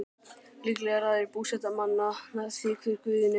Líklega ræður búseta manna því hver guðinn er.